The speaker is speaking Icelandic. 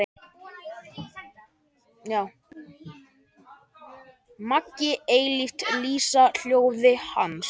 Megi eilíft lýsa ljósið Hans.